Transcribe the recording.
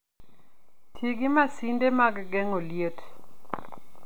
Ti gi masinde mag geng'o liet.